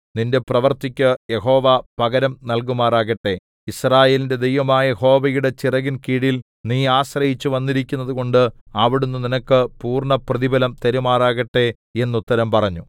നിന്റെ പ്രവൃത്തിക്കു യഹോവ പകരം നൽകുമാറാകട്ടെ യിസ്രായേലിന്റെ ദൈവമായ യഹോവയുടെ ചിറകിൻ കീഴിൽ നീ ആശ്രയിച്ചുവന്നിരിക്കുന്നതു കൊണ്ട് അവിടുന്ന് നിനക്ക് പൂർണ്ണപ്രതിഫലം തരുമാറാകട്ടെ എന്നുത്തരം പറഞ്ഞു